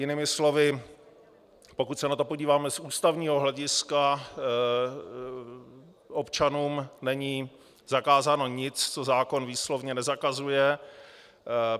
Jinými slovy, pokud se na to podíváme z ústavního hlediska, občanům není zakázáno nic, co zákon výslovně nezakazuje.